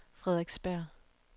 Frederiksberg